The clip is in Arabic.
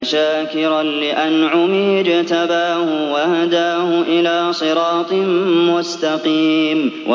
شَاكِرًا لِّأَنْعُمِهِ ۚ اجْتَبَاهُ وَهَدَاهُ إِلَىٰ صِرَاطٍ مُّسْتَقِيمٍ